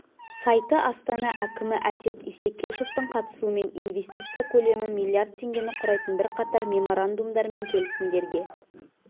сайты астана әкімі әсет исекешевтің қатысуымен инвестиция көлемі миллиард теңгені құрайтын бірқатар меморандумдар мен келісімдерге